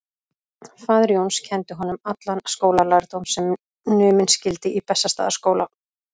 Faðir Jóns kenndi honum allan skólalærdóm sem numinn skyldi í Bessastaðaskóla.